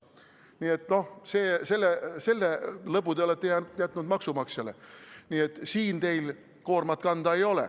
Nii et selle lõbu olete jätnud maksumaksjale, siin teil koormat kanda ei ole.